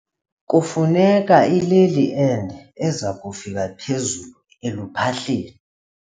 Kufuneka ileli ende eza kufika phezulu eluphahleni.